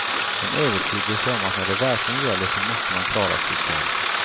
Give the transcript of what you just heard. En övertygelse om att när det verkligen gäller så måste man klara sig själv.